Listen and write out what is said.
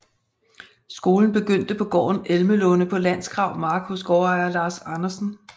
Skolen begyndte på gården Elmelunde på Landsgrav Mark hos gårdejer Lars Andersen